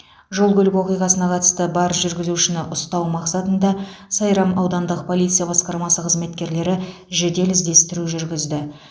жол көлік оқиғасына қатысы бар жүргізушіні ұстау мақсатында сайрам аудандық полиция басқармасы қызметкерлері жедел іздестіру жүргізді